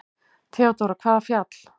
THEODÓRA: Hvaða fjall?